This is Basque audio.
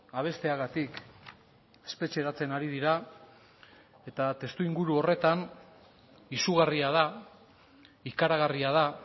abesteagatik espetxeratzen ari dira eta testuinguru horretan izugarria da ikaragarria da